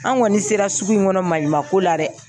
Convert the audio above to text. An kɔni sera sugu in kɔnɔ maɲuman ko la dɛ.